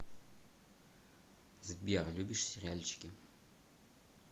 сбер любишь сериальчики